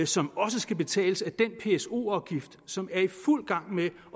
som også skal betales af den pso afgift som er i fuld gang med